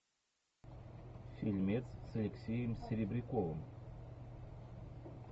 фильмец с алексеем серебряковым